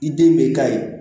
I den bɛ ka ye